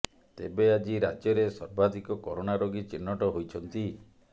ତେବେ ଆଜି ରାଜ୍ୟରେ ସର୍ବାଧିକ କରୋନା ରୋଗୀ ଚିହ୍ନଟ ହୋଇଛନ୍ତି